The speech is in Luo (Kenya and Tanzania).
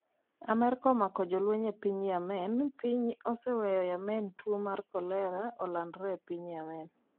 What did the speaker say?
Amerka omako jolweny e piny Yemen: Piny oseweyo Yemen tuo mar cholera olandre e piny Yemen.